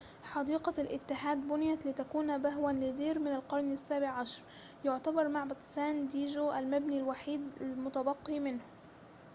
حديقة الاتحاد بُنيت لتكون بهوًا لدير من القرن السابع عشر يعتبر معبد سان دييجو المبنى الوحيد المتبقي منه